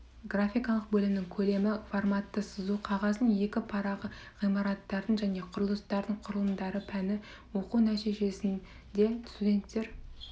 графикалық бөлімнің көлемі форматты сызу қағаздың екі парағы ғимараттардың және құрылыстардың құрылымдары пәнді оқу нәтижесінде студенттер